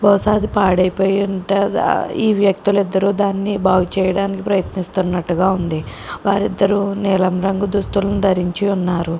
బహుశా ఇది పాడైపోయి ఉంటదా ఈ వ్యక్తులు ఇద్దరు దాన్ని బాగు చేయడానికి ప్రయత్నిస్తున్నట్లుగా ఉంది వారిద్దరూ నీలం రంగు దుస్తులు ధరించి ఉన్నారు.